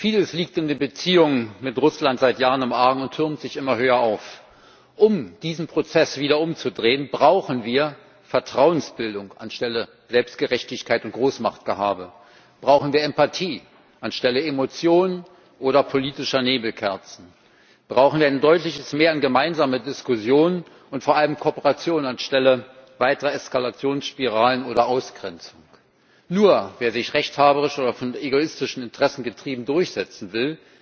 Vieles liegt in den Beziehungen mit Russland seit Jahren im Argen und türmt sich immer höher auf Um diesen Prozess wieder umzudrehen, brauchen wir Vertrauensbildung anstelle von Selbstgerechtigkeit und Großmachtgehabe, brauchen wir Empathie anstelle von Emotionen oder politischen Nebelkerzen, brauchen wir ein deutliches Mehr an gemeinsamer Diskussion und vor allem Kooperation anstelle weiterer Eskalationsspiralen oder Ausgrenzung. Nur wer sich rechthaberisch oder von egoistischen Interessen getrieben durchsetzen will,